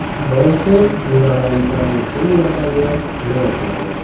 Boisi, minorali kran necha yillardan buyon qimir etmaydi.